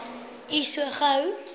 u so gou